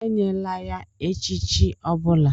Enyela ya echichi ọ bụla!